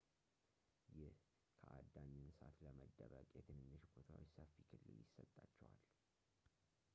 ይህ ከአዳኝ እንስሳት ለመደበቅ የትንንሽ ቦታዎች ሰፊ ክልል ይሰጣቸዋል